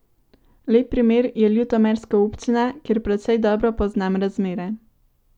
Lep primer je ljutomerska občina, kjer precej dobro poznam razmere.